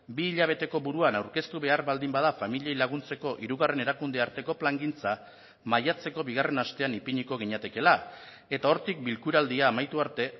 bi hilabeteko buruan aurkeztu behar baldin bada familiei laguntzeko hirugarren erakunde arteko plangintza maiatzeko bigarren astean ipiniko ginatekeela eta hortik bilkuraldia amaitu arte